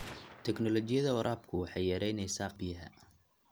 Tignoolajiyada waraabku waxay yaraynaysaa khasaaraha biyaha.